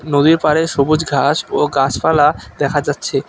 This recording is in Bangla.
নদীর পাড়ে সবুজ ঘাস ও গাছপালা দেখা যাচ্ছে।